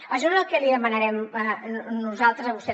això és el que li demanarem nosaltres a vostè